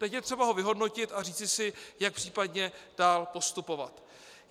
Teď je třeba ho vyhodnotit a říci si, jak případně dál postupovat.